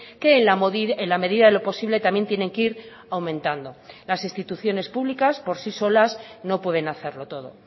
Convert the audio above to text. que en la medida de lo posible también tienen que ir aumentando las instituciones públicas por si solas no pueden hacerlo todo